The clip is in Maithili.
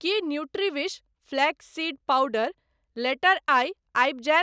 की Nutriwish flax seed powder later आइ आबि जायत?